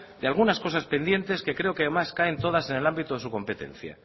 de algunas cosas pendientes que creo que además caen en todas en el ámbito de su competencia